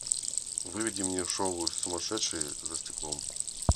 выведи мне шоу сумасшедшие за стеклом